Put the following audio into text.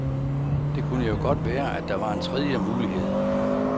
Det kunne jo godt være, at der var en tredje mulighed.